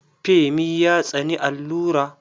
Femi ya tsani allura.